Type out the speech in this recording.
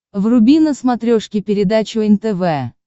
вруби на смотрешке передачу нтв